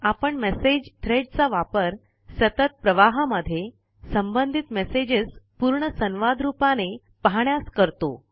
आपण message thread चा वापर सतत प्रवाहामध्ये सबंधित मेसेजेस पूर्ण संवाद रूपाने पाहण्यास करतो